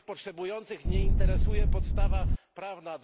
Tych potrzebujących nie interesuje podstawa prawna.